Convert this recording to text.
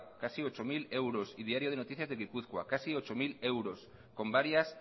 casi ocho mil euros y diario de noticias de gipuzkoa casi ocho mil euros con varias